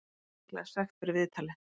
Hann fær líklega sekt fyrir viðtalið.